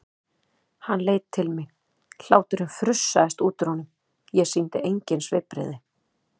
Hann leit til mín, hláturinn frussaðist út úr honum, ég sýndi engin svipbrigði.